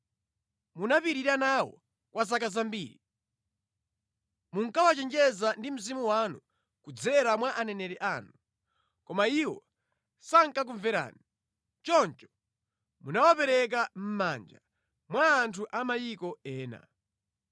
Munapirira nawo kwa zaka zambiri. Munkawachenjeza ndi Mzimu wanu kudzera mwa aneneri anu, koma iwo sankakumverani. Choncho munawapereka mʼmanja mwa anthu a mayiko ena.